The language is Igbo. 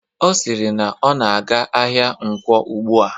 Ọ siri na ọ na-aga ahịa Nkwo ugbua